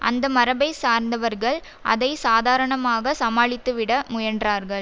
அந்தமரபைச் சார்ந்தவர்கள் அதை சாதாரணமாக சமாளித்துவிட முயன்றார்கள்